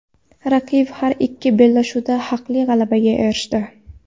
Raqib har ikki bellashuvda haqli g‘alabaga erishdi.